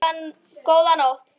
Góða nótt!